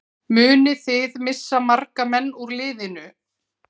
Munið þið missa marga menn úr liðinu?